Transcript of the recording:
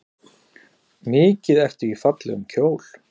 Mikið ertu í fallegum kjól.